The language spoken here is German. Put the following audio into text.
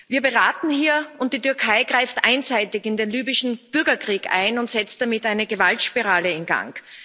Wir beraten hier, und die Türkei greift einseitig in den libyschen Bürgerkrieg ein und setzt damit eine Gewaltspirale in Gang.